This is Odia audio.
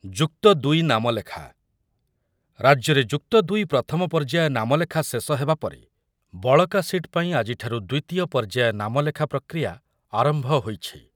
ଯୁକ୍ତ ଦୁଇ ନାମଲେଖା, ରାଜ୍ୟରେ ଯୁକ୍ତ ଦୁଇ ପ୍ରଥମ ପର୍ଯ୍ୟାୟ ନାମଲେଖା ଶେଷ ହେବା ପରେ ବଳକା ସିଟ୍ ପାଇଁ ଆଜିଠାରୁ ଦ୍ୱିତୀୟ ପର୍ଯ୍ୟାୟ ନାମଲେଖା ପ୍ରକ୍ରିୟା ଆରମ୍ଭ ହୋଇଛି।